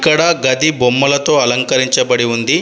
ఇక్కడ గది బొమ్మలతో అలంకరించబడి ఉంది.